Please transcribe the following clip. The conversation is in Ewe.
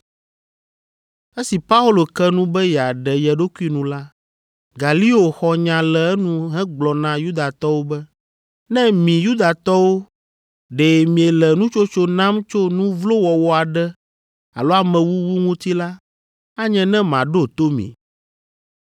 Esi Paulo ke nu be yeaɖe ye ɖokui nu la, Galio xɔ nya le enu hegblɔ na Yudatɔwo be, “Ne mi Yudatɔwo ɖe miele nutsotso nam tso nu vlo wɔwɔ aɖe alo amewuwu ŋuti la, anye ne maɖo to mi,